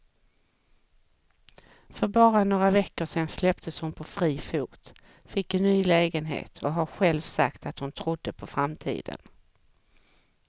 För bara några veckor sedan släpptes hon på fri fot, fick en ny lägenhet och har själv sagt att hon trodde på framtiden.